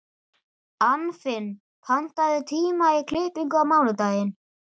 Anfinn, pantaðu tíma í klippingu á mánudaginn.